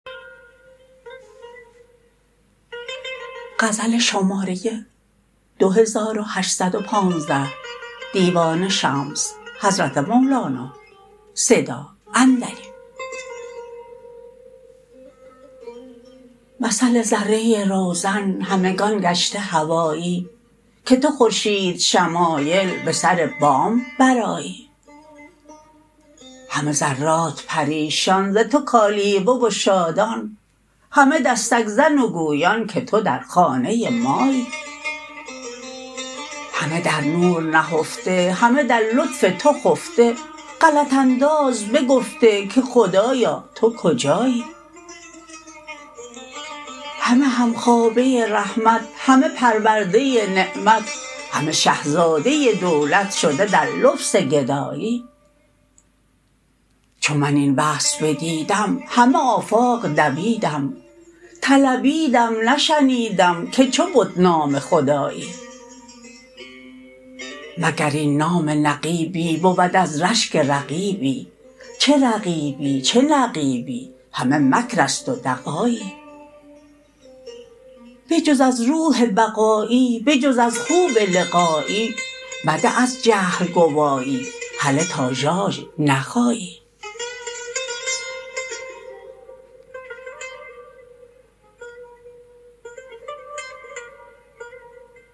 مثل ذره روزن همگان گشته هوایی که تو خورشیدشمایل به سر بام برآیی همه ذرات پریشان ز تو کالیوه و شادان همه دستک زن و گویان که تو در خانه مایی همه در نور نهفته همه در لطف تو خفته غلط انداز بگفته که خدایا تو کجایی همه همخوابه رحمت همه پرورده نعمت همه شه زاده دولت شده در لبس گدایی چو من این وصل بدیدم همه آفاق دویدم طلبیدم نشنیدم که چه بد نام جدایی مگر این نام نقیبی بود از رشک رقیبی چه رقیبی چه نقیبی همه مکر است و دغایی بجز از روح بقایی به جز از خوب لقایی مده از جهل گوایی هله تا ژاژ نخایی